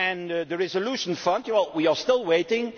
normal. On the resolution fund, we are still waiting.